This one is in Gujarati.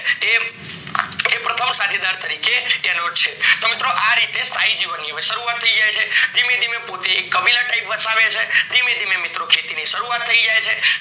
એ પ્રથમ સાથીદાર તરીકે છે તો મિત્રો અ રીતે સ્થાયી જીવનની શરૂવાત થય જાય છે, ધીમે ધીમે પોતે એક કબીલા type વસાવે છે ધીમે ધીમે મિત્રો ખેતી ની શરૂવાત થય જાય છે